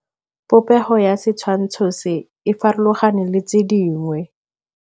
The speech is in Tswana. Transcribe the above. Popêgo ya setshwantshô se, e farologane le tse dingwe.